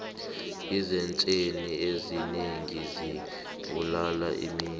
iinzektjheni ezinengi zibulala imizwa